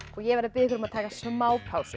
og ég verð að biðja ykkur að taka smá pásu